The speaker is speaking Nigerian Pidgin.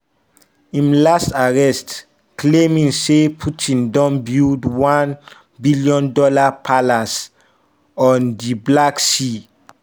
im last arrest claiming say putin don build one-billion dollar palace on di black sea.